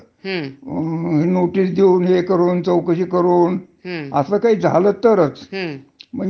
म्हणजे शक्यतो केंद्रसरकार किवा काय राज्यसरकार याच्यामधल्या ज्या नोकऱ्या आहेत त्या अगदी